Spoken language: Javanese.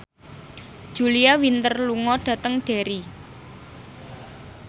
Julia Winter lunga dhateng Derry